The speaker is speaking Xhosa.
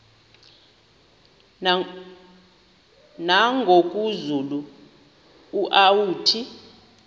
nangoku zulu uauthi